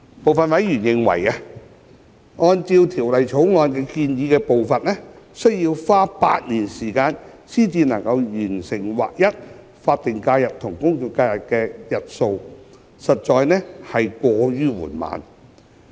部分委員認為，按照《條例草案》建議的步伐，需要花8年時間才能完成劃一法定假日與公眾假期的日數，實在過於緩慢。